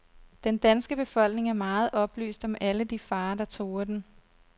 Den danske befolkning er meget oplyst om alle de farer, der truer den.